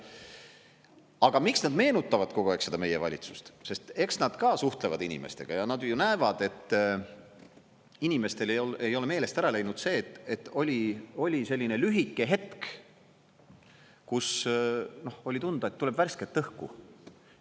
Aga miks nad meenutavad kogu aeg seda meie valitsust, sest eks nad ka suhtlevad inimestega ja nad ju näevad, et inimestel ei ole meelest ära läinud see, et oli selline lühike hetk, kus oli tunda, et tuleb värsket õhku.